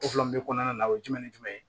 kɔnɔna na o ye jumɛn ni jumɛn ye